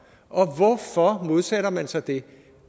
og hvorfor modsætter man sig det